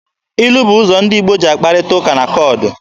Ilu bụ ụzọ ndị Igbo ji akparịta ụka na koodu.